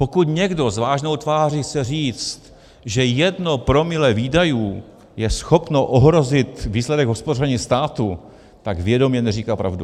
Pokud někdo s vážnou tváří chce říct, že jedno promile výdajů je schopno ohrozit výsledek hospodaření státu, tak vědomě neříká pravdu.